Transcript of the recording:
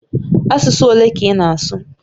Asụsụ ole ka ị na-asụ?